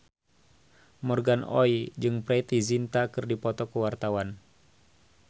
Morgan Oey jeung Preity Zinta keur dipoto ku wartawan